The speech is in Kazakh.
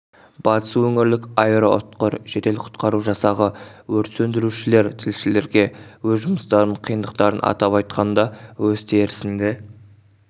батыс өңірлік аэроұтқыр жедел құтқару жасағы өрт сөндірушілер тілшілерге өз жұмыстарының қиындықтарын атап айтқанда өз терісінде